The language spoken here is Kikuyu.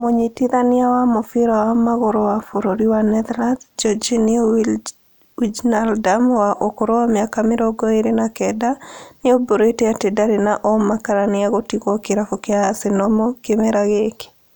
Mũnyitithania wa mũbĩra wa magũrũ wa bũrũri wa Netherlands Georginio Wijnaldum wa ũkũrũ wa mĩaka mĩrongo ĩrĩ na kenda, nĩaũmburĩte atĩ ndarĩ na ũma kana nĩegũtigwo kĩrabu kĩa Arsenal kĩmera gĩkĩ